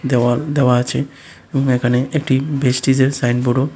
দেওয়াল দেওয়া আছে এবং এখানে একটি ভেস্টিজের সাইনবোর্ডও--